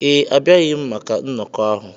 Ee, abịaghị m maka nnọkọ ahụ.